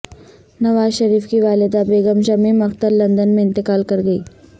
نواز شریف کی والدہ بیگم شمیم اختر لندن میں انتقال کر گئیں